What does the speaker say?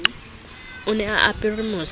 o ne a apere mose